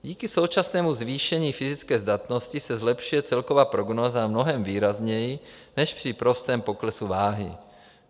Díky současnému zvýšení fyzické zdatnosti se zlepšuje celková prognóza mnohem výrazněji než při prostém poklesu váhy.